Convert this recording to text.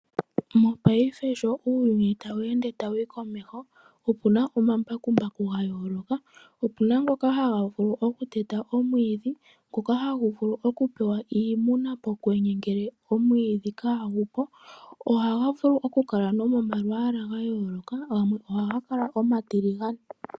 Mopaife sho uuyuni tawu ende tawu humu komeho, opuna omambakumbaku ga yooloka opuna ngoka haga vulu oku teta omwidhi, ngoka hagu vulu oku pewa iimuna pokwenye ngele omwidhi kaa gupo. Ohaga vulu oku kala nomo malwaala ga yooloka, gamwe oha ga kala omatiligane.